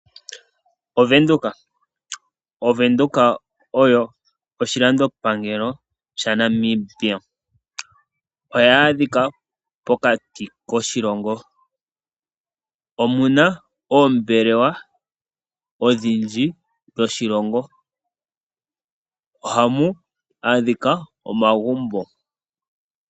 Ovenduka oyo oshilandopangelo shaNamibia. Ohayi adhika pokati koshilongo. Omu na oombelewa odhindji dhoshilongo. Ohamu adhika omagumbo.